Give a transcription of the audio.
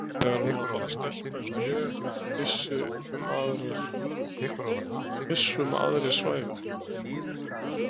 Þegar hún var bara stelpa eins og ég, viss um að aðrir svæfu.